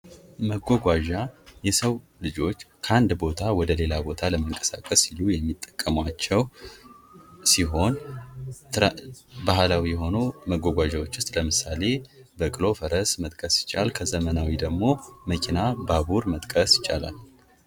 መጓጓዣ የሰው ልጆች ከአንድ ቦታ ወደ ሌላ ቦታ ለመንቀሳቀስ ሲሉ የሚጠቀሟቸው ሲሆን፤ ባህላዊ የሆኑ መጓጓዣዎችን ውስጥ ለምሳሌ በቅሎ፣ ፈረስ መጥቀስ ሲቻል። ከዘመናዊ ደግሞ መኪና፣ ባቡር መጥቀስ ይቻላል።